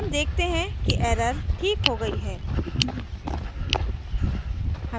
हम देखते हैं कि error ठीक हो गई है